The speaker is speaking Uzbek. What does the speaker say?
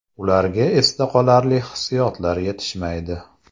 Ularga esda qolarli hissiyotlar yetishmaydi!